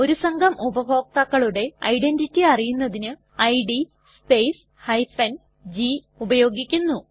ഒരു സംഘം ഉപഭോക്താക്കളുടെ ഐഡന്റിറ്റി അറിയുന്നതിന് ഇഡ് സ്പേസ് g ഉപയോഗിക്കുന്നു